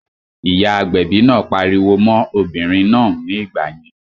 Ìyá agbẹ̀bi náà pariwo mọ́n obìnrin náà ní ìgbà yẹn